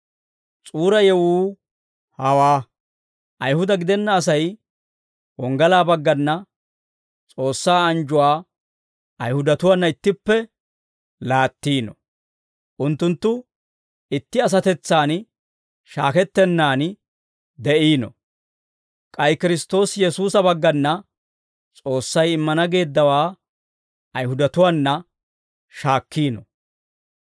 S'uura yewuu hawaa; Ayihuda gidenna Asay wonggalaa baggana, S'oossaa anjjuwaa Ayihudatuwaana ittippe laattiino; unttunttu itti asatetsan shaakettennaan de'iino; k'ay Kiristtoosi Yesuusa baggana S'oossay immana geeddawaa Ayihudatuwaana shaakkiino.